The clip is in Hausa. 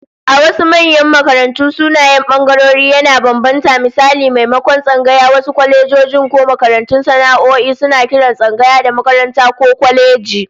A wasu manyan makarantu, sunayen bangarorin yana bambanta, misali maimakon tsangaya, wasu kwalejojin ko makarantun sana'o'i suna kiran tsangaya da "makaranta" ko "kwaleji"